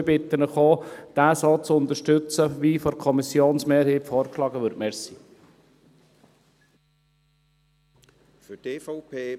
Und ich bitte Sie auch, diesen so zu unterstützen, wie von der Kommissionsmehrheit vorgeschlagen wird.